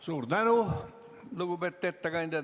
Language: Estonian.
Suur tänu, lugupeetud ettekandja!